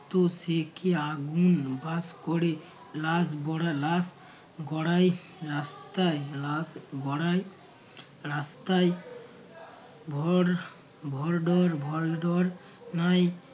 তো সে কী আগুন বাস করে লাশ গড়া লাশ বড়া রাস্তায় লাশ গড়ায় রাস্তায়। ভর ভর ডর ভয় ডর নাই